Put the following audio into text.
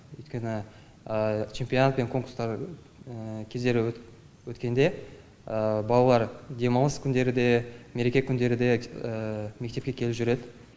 өйткені чемпионат пен конкурстар кездері өткенде балалар демалыс күндері де мереке күндері де мектепке келіп жүреді